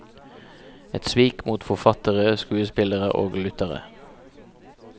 Et svik mot forfattere, skuespillere og lyttere.